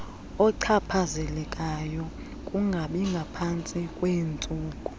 ochaphazelekayo kungabingaphantsi kweentsuku